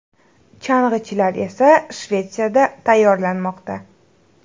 Chang‘ichilar esa Shvetsiyada tayyorlanmoqda.